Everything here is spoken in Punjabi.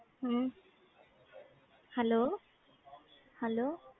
hmm hello hello